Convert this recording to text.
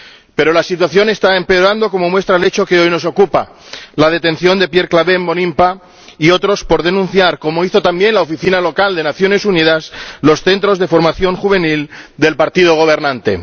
Pero la situación está empeorando, como demuestra el hecho que hoy nos ocupa la detención de Pierre Claver Mbonimpa y otros por denunciar, como hizo también la oficina local de las Naciones Unidas, los centros de formación juvenil del partido gobernante.